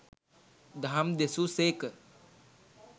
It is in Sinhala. දහම් දෙසූ සේක.